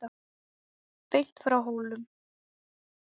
Beint frá Hólum.